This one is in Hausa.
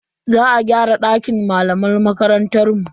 Za a gyara dakin malaman makarantar mu.